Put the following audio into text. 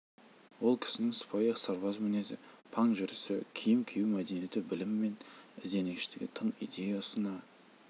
ол кісінің сыпайы сырбаз мінезі паң жүрісі киім кию мәдениеті білімі мен ізденгіштігі тың идея ұсына